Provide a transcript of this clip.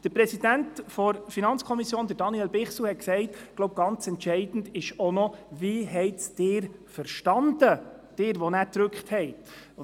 Der Präsident der FiKo, Daniel Bichsel, hat gesagt, ganz entscheidend sei auch, wie Sie es verstanden haben, Sie, die dann den Abstimmungsknopf gedrückt haben.